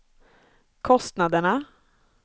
kostnaderna